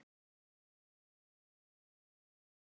Það hafði sitt að segja.